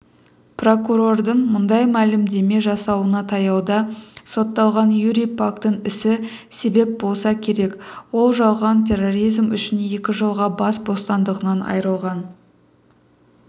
покурордың мұндай мәлімдеме жасауына таяуда сотталған юрий пактің ісі себеп болса керек ол жалған терроризм үшін екі жылға бас бостандығынан аййрылған